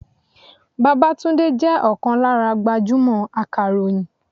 Babátúndé jẹ́ ọ̀kan lára gbajúmò akàròyìn.